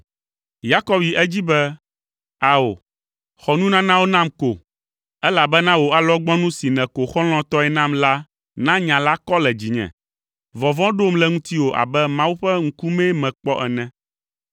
Yakob yi edzi be, “Ao, xɔ nunanawo nam ko, elabena wò alɔgbɔnu si nèko xɔlɔ̃tɔe nam la na nya la kɔ le dzinye! Vɔvɔ̃ ɖom le ŋutiwò abe Mawu ƒe ŋkumee mekpɔ ene.